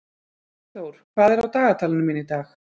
Eyþór, hvað er á dagatalinu mínu í dag?